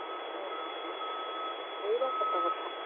ହୁଁ ଏଇଟା ସତ କଥା